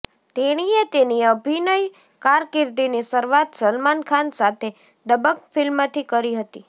તેણીએ તેની અભિનય કારકીર્દિની શરૂઆત સલમાન ખાન સાથે દબંગ ફિલ્મથી કરી હતી